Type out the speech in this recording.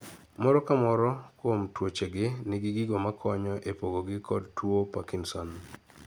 moro kamoro kuom tuoche gi nigi negi gigi makonyo e pogo gi kod tuo parkinson